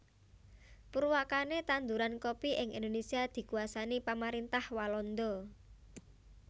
Purwakane tanduran kopi ing Indonésia dikuasani pamarintah Walanda